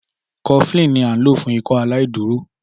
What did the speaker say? Cofflin ni à nlo fún Ikọaláìdúró